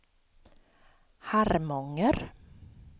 Harmånger